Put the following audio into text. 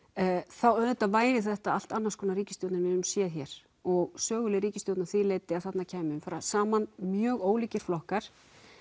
þá auðvitað væri þetta allt annars konar ríkisstjórn en við höfum séð hér og söguleg ríkisstjórn að því leyti að þarna kæmu saman mjög ólíkir flokkar